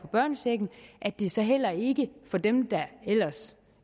børnechecken at det så heller ikke for dem der